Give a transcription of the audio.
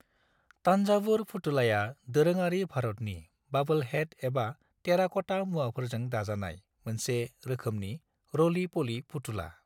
तान्जावुर फुथुलाया दोरोङारि भारतनि ब'ब्लहेड एबा टेराक'टा मुवाफोरजों दाजानाय मोनसे रोखोमनि रली-पली फुथुला।